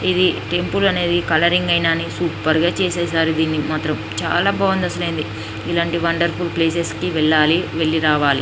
ఇది టెంపుల్ అనేది కలరింగ్ అయినా అనేది సూపర్ గా చేసేసారు ఇది మాత్రం చాలా బాగుందండి అసలు ఇలాంటి వండర్ఫుల్ ప్లేసెస్ కి వెళ్లాలి వెళ్లి రావాలి.